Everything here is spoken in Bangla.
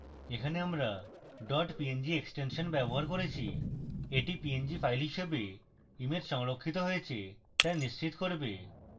এখানে আমরা dot png এক্সটেনশন ব্যবহার করেছি এটি png file হিসাবে image সংরক্ষিত হয়েছে তা নিশ্চিত করবে